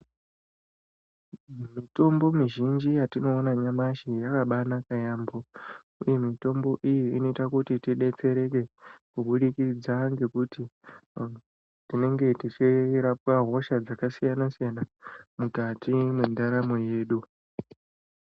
Mitombo mizhinji yatinoona nyamashi yakabaanaka yaampho, uye mitombo iyi inoita kuti tidetsereke, kubudikidza ngekuti tinenge tichirapwa hosha dzakasiyana-siyana ,mukati mwendaramo yedu.